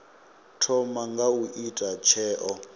thoma nga u ita tsheo